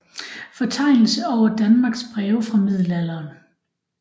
Fortegnelse over Danmarks Breve fra Middelalderen